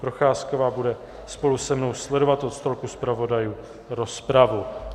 Procházková bude spolu se mnou sledovat od stolku zpravodajů rozpravu.